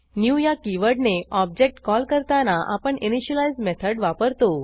new या कीवर्डने object call करताना आपण इनिशियलाईज मेथड वापरतो